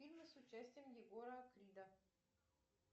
фильмы с участием егора крида